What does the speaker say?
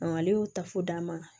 Ale y'o ta fo d'a ma